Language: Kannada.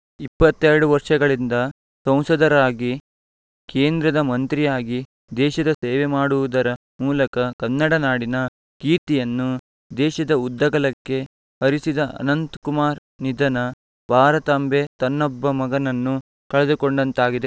ಇಪ್ಪತ್ತ್ ಎರಡು ವರ್ಷಗಳಿಂದ ಸಂಸದರಾಗಿ ಕೇಂದ್ರದ ಮಂತ್ರಿಯಾಗಿ ದೇಶದ ಸೇವೆ ಮಾಡುವುದರ ಮೂಲಕ ಕನ್ನಡ ನಾಡಿನ ಕೀರ್ತಿಯನ್ನು ದೇಶದ ಉದ್ದಗಲಕ್ಕೆ ಹರಿಸಿದ ಅನಂತ್ ಕುಮಾರ್‌ ನಿಧನ ಭಾರತಾಂಬೆ ತನ್ನೊಬ್ಬ ಮಗನನ್ನು ಕಳೆದುಕೊಂಡಂತಾಗಿದೆ